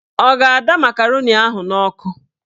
Ọ ga-ada makaroni ahụ n'ọkụ